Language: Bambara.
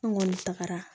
An kɔni tagara